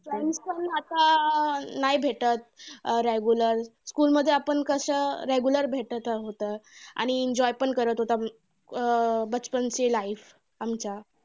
Friends पण आता अं नाही भेटतं. अं regular school मध्ये आता कसं regular भेटत होतो आणि enjoy पण करत होतो अं ची life आमच्या.